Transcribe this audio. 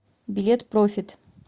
билет профит